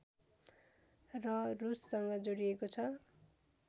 र रुससँग जोडिएको छ